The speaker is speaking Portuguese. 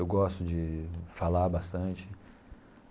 Eu gosto de falar bastante.